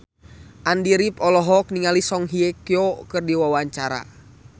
Andy rif olohok ningali Song Hye Kyo keur diwawancara